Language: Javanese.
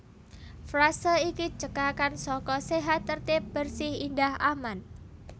Frase iki cekakan saka sehat tertib bersih indah aman